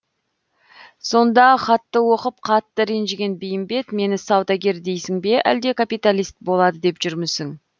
сонда хатты оқып қатты ренжіген бейімбет мені саудагер дейсің бе әлде капиталист болады деп жүрмісің